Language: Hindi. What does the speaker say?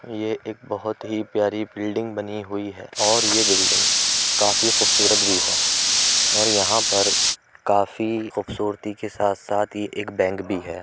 ये एक बहुत ही प्यारी बिल्डिंग बनी हुई है और ये बिल्डिंग काफी खूबसूरत भी है और यहाँ पर काफी खूबसूरती के साथ-साथ ही बैंक भी है।